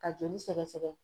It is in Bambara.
Ka joli sɛgɛsɛgɛ